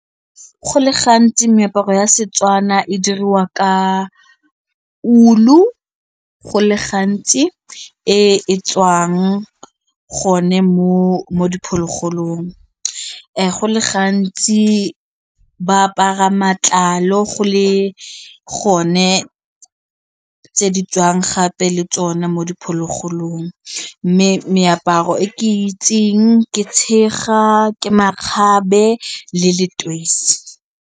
Go le gantsi meaparo ya Setswana e diriwa ka ulu go le gantsi e e tswang gone mo diphologolong, go le gantsi ba apara matlalo go le gone tse di tswang gape le tsone mo diphologolong mme meaparo e ke itseng ke tshega, ke makgabe le leteisi.